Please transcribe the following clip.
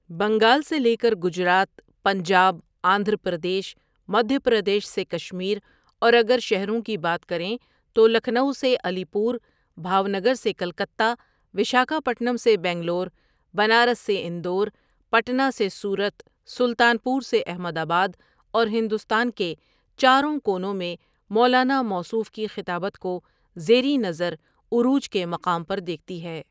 بنگال سے لیکر گجرات، پنجاب آندھرا پردیش، مدھیہ پردیش سے کشمیر، اور اگر شہرو ںکی بات کریں تو لکھنؤ سے علی پور، بھاو نگر سے کلکتہ، وشاکھاپٹنم سے بنگلور، بنارس سے اندور، پٹنہ سے سورت ،سلطان پور سے احمد آباداور ہندوستان کے چاروں کونو میں مولانا موصوف کی خطابت کو زیریں نظر عروج کے مقام پر دیکھتی ہیں۔